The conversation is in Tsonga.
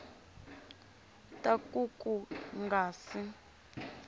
ta ku ku nga si